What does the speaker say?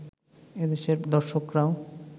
এদেশের দর্শকরাও